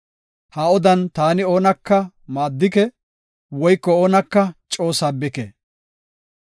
Ha odan taani oonaka maaddike, woyko oonaka coo sabbike.